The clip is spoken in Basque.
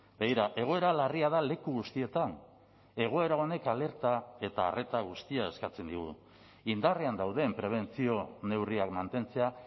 begira egoera larria da leku guztietan egoera honek alerta eta arreta guztia eskatzen digu indarrean dauden prebentzio neurriak mantentzea